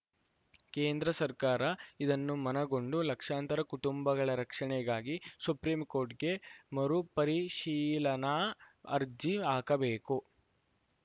ಕೇಂದ್ರ ಸರ್ಕಾರ ಇದನ್ನು ಮನಗಂಡು ಲಕ್ಷಾಂತರ ಕುಟುಂಬಗಳ ರಕ್ಷಣೆಗಾಗಿ ಸುಪ್ರಿಂಕೋರ್ಟ್‌ಗೆ ಮರುಪರಿಶೀಲನಾ ಅರ್ಜಿ ಹಾಕಬೇಕು